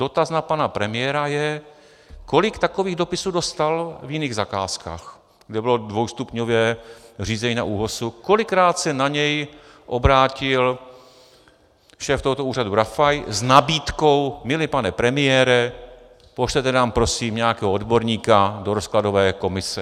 Dotaz na pana premiéra je, kolik takových dopisů dostal v jiných zakázkách, kde bylo dvoustupňové řízení na ÚOHS, kolikrát se na něj obrátil šéf tohoto úřadu Rafaj s nabídkou "milý pane premiére, pošlete nám prosím nějakého odborníka do rozkladové komise".